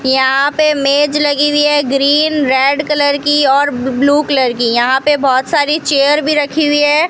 यहां पे मेंज लगी हुई है ग्रीन रेड कलर की और ब ब्लू कलर की यहां पे बहोत सारी चेयर भी रखी हुई है।